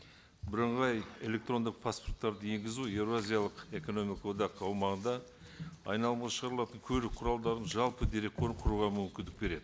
бірыңғай электрондық паспорттарды енгізу еуразиялық экономикалық одақ аумағында айналымға шығарылатын көлік құралдарының жалпы дерекқор құруға мүмкіндік береді